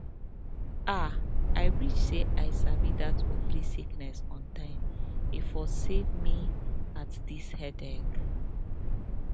ah i wish say i sabi that ovary sickness on time e for save me att dis headache